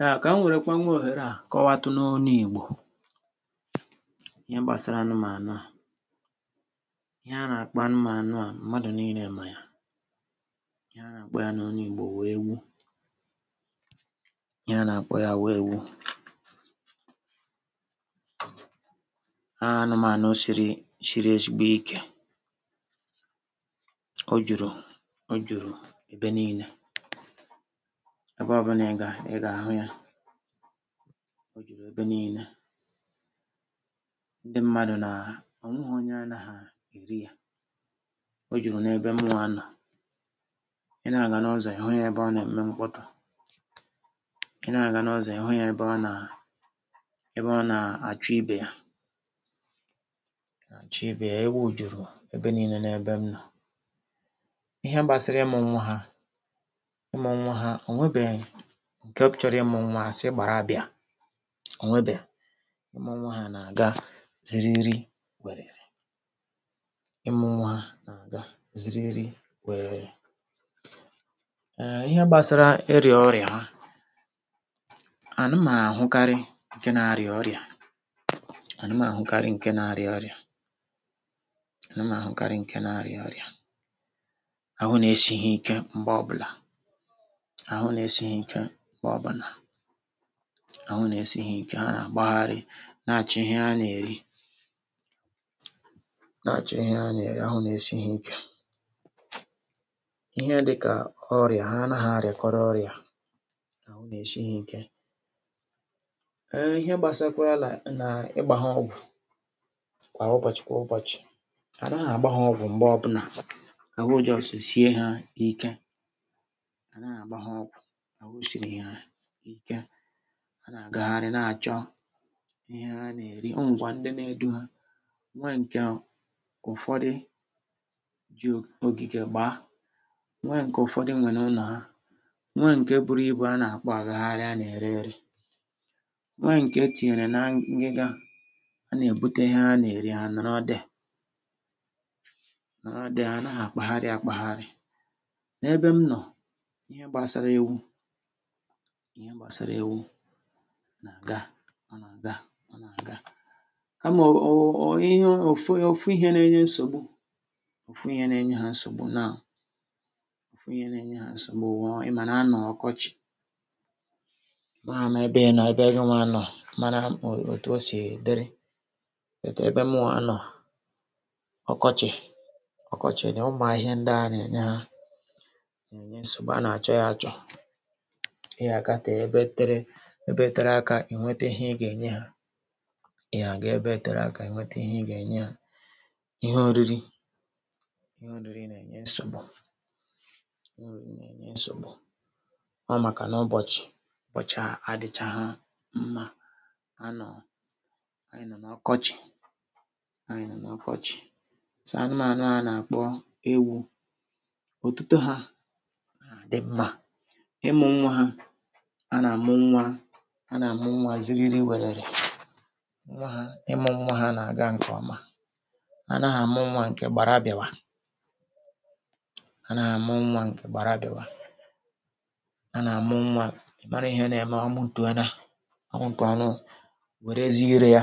um Ka m were kwa nwa oghera a kọwatụ n’ọnụ igbo, ihe gbasara anụmanya a, ihe a na-akpọ anụmanya a mmadụ niile ma ya, ihe a na-akpọ ya n’ọnụ igbo bụ Ewu, ihe a na-akpọ ya bụ Ewu, anụmanya siri siri ezigbo ike. O juru, o juru ebe niile, ebe ọbụna ị ga, ị ga-ahụ ya, o juru ebe niile, ndị mmadụ na, ọ nweghị onye anaghị eri ya, o juru n’ebe mụwa nọ, ị na-aga n’ọzọ ị hụ ya ebe ọ na-eme mkpọtụ, ị na-aga n’ọzọ ị hụ ya ebe ọ na ebe ọ na-achụ ibe ya, achụ ibe ya, ewu juru ebe niile n’ebe m nọ. Ihe gbasịrị ịmụ nwa ha ịmụ nwa ha, o nwe nke chọrọ ịmụ nwa asị gbara bịa, o nwe, imụ ọnwa ha na-aga zịrịrị wererè, imụ nwa na-aga zịrịrị wererè. um Ihe gbasara ịrịa ọrịa ha, anụmanya ahụkarị nke na-arịa ọrịa, anụmanya ahụkarị nke na-arịa ọrịa, anụmanya ahụkarị nke na-arịa ọrịa, ahụ na-esi ha ike mgbe ọbụla, ahụ na-esi ha ike mgbe ọbụla, ahụ na esi ihe ike, ha na gbagharị na acho ihe ha na-eri, na acho ihe ha na-eri, ahụ na esi ha ike. Ihe dị ka ọrịa, ha anaghị arịakọrịa ọrịa, ahụ na-esi ha ike. um Ihe gbasara kwa na ịgba ha ọgwụ kwa ụbọchị kwa ụbọchị, anaghị agba ha ọgwụ mgbè ọbụla, ahụ just sị sie ha ike, anaghị agba ha ọgwụ, ahụ siri ha ike, ha na-agagharị na-achọ ihe ha na-eri, onwe kwa ndị na-edu ha, nwe nke ụfọdụ jị ogige gbaa, nwe nke ụfọdụ nwe n’ụnọ ha, nwe nke buru ibu a na-akpọ agagharị a na-ere ere, nwe nke etinyere na ngịga a na-ebute ihe ha na-eri ha nọrọ there, nọrọ there, ha anaghị akpagharị akpagharị. N’ebe m nọ, ihe gbasara ewu, ihe gbasara ewu na-aga, ọ na-aga, ọ na-aga, kama, ọ ọ ọ, ihe, ọ ọfụ, ọfụ ihe na-enye nsogbu, ọfụ ihe na-enye ha nsogbu now, ọfụ ihe na-enye ha nsogbu, bụ, ị ma na anọ ọkọchị, amaghị m ebe, na-ebe inyewa nọ, mara o otu sị dịrị, but ebe mụwa nọ, ọkọchị ọkọchị dị, ụmụ ahịhịa ndị a na-enye ha, na-enye nsogbu, a na-acho ya acho, ihe a ga-ete ebe tere, ebe tere aka, ị nwete ihe ị ga-enye ha, ihe a ga-ete ebe tere aka ị nwete ihe ị ga-enye ha, ihe oriri, ihe oriri na-enye nsogbu, ihe oriri na-enye nsogbu, ọ maka n’ụbọchị ụbọchị a adịchaghị mma, a nọ, anyị nọ n’ọkọchị, anyị nọ n’ọkọchị. So anụmanya a na-akpọ ewu, ọ tuto ha na dị mma, ịmụ nwa ha, ha na-amụ nwa, ha na-amụ nwa zịrịrị wererè, nwa ha, ịmụ nwa ha na-aga nke ọma, ha anaghị amụ nwa nke gbara abịa, ha anaghị amụ nwa nke gbara abịa, ha na-amụ nwa, ị mara ihe na-eme, ọmụ tụọ na, ọmụ pụọ na, o werezịe ire ya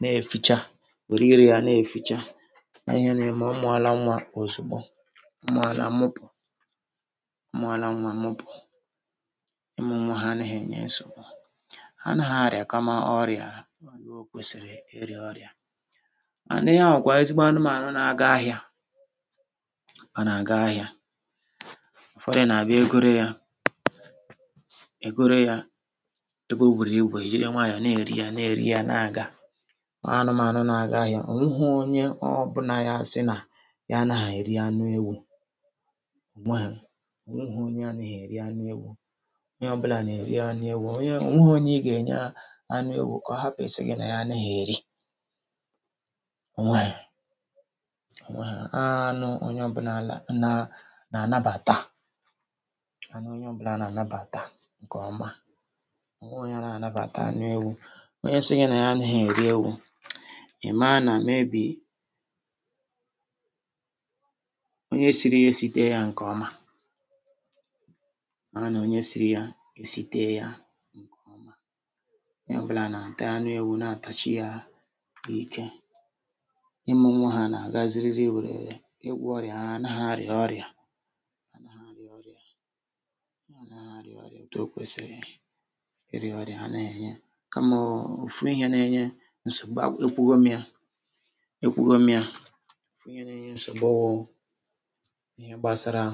na-efịcha, were ire ya na-efịcha, ọ ihe na-eme, ọmụ na-ala nwa ozugbo, ọmụ na-ala ọmụpụ, ọmụ na-ala nwa ọmụpụ, ị mụ nwa ha anaghị enye nsogbu, ha anaghị arịa kama ọrịa, o ịhe kwụsịrị ịrịa ọrịa, mana ihe a bụ kwa ezigbo anụmanya n’aga ahịa, ọ n’aga ahịa, ụfọdụ na-abịa egorị ya, egorị ya, ebe ọ bụrụ ibu, ejịrị kwanyo na-eri ya, na-eri ya na-aga anụmanya n’aga ahịa, ọ nweghị onye ọbụla a sị na ya anaghị eri anụ ewu, ọ nweghị, ọ nweghị onye anaghị eri anụ ewu, onye ọbụla na-eri anụ ewu, onye, ọ nweghị onye ị ga-enye anụ ewu kọ hapụ sị gị na ya naghị eri, onweghị, onweghị. Anụ onye ọbụla na, na-anabata, anụ onye ọbụla na-anabata nke ọma, onweghị onye anaghị anabata anụ ewu, onye sị gị na ya naghị eri ewu, ị maa na maybe onye sịrị ya esiteghị ya nke ọma, maa na onye sịrị ya esiteghị ya nke ọma, onye ọbụla na-ata anụ ewu na-atachị ya ike. Ịmụ nwa ha na-aga zịrịrị wererè, ịgwo ọrịa ha, ha anaghị arịa ọrịa, ha anaghị arịa ọrịa, ha anaghị arịa ọrịa otu okwesịrị ịrịa ọrịa, ha na-enye, kama ọfụ ihe na-enye nsogbu, ekwughọ m ya, ekwughọ m ya, ọfụ ihe na-enye nsogbu bụ ihe gbasara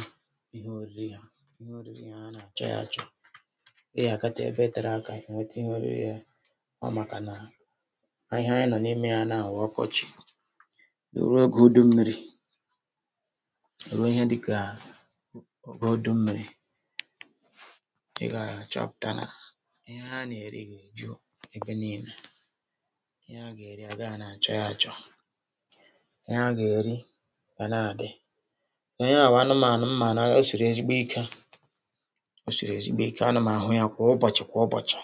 ihe oriri ha, ihe oriri ha anacho ya acho. Ị ga-agate ebe tere aka ị nweta ihe oriri ha, ọ maka na ahịhịa anyị nọ n’ime ya now bụ ọkọchị, ruo oge ụda mmiri, ruo ihe dị ka, ụda mmiri, ị ga-achọpụta na ihe ha na-eri ga-eju ebe niile, ihe ha ga-eri agahi na-achọ ya acho, ihe ha ga-eri ga na-adị, ihe a bụ anụmanya mmanya esịrị ezigbo ike osịrị ezigbo ike, ana m ahụ a kwa ụbọchị kwa ụbọchị,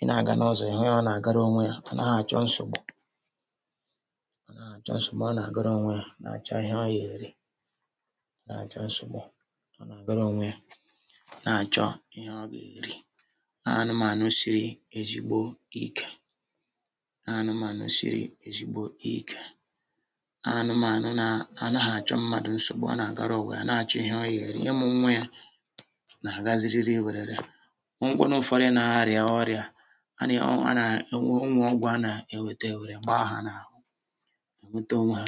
ị na-aga n’ụzọ, ị hụ ya, ọ na-agara onwe ya, ọ naghị acho nsogbu, ọ naghị acho nsogbu, ọ na-agara onwe a na-acho ihe ọ ga-eri, ọ naghị acho nsogbu, ọ na-agara onwe ya na-acho ihe ọ ga-eri, anụmanya siri ezigbo ike, anụmanya siri ezigbo ike, anụmanya na, anaghị acho mmadụ nsogbu, ọ na-agara ụwa ya, na-acho ihe ọ ga-eri, ịmụ nwa ya na-aga zịrịrị wererè, onwe kwanu ụfọdụ na-arịa ọrịa, ana ana, onwe ọgwụ a na-ewete ewere mgbọọ hụ n’ahụ, ha weta onwe ha,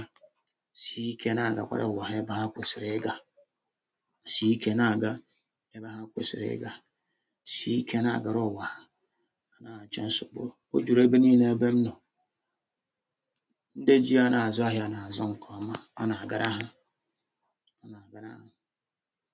sị ike na-agakwara ụwa ya ebe ha kwesịrị ịga, sị ike na-aga ebe ha kwesịrị ịga, sị ike na-agara ụwa ha, ha anaghị acho nsogbu, o juru ebe niile ebe m nọ, ndị jị ya na-azụ ahịa na-azụ nke ọma, ọ na-agara ha, ọ na-agara ha.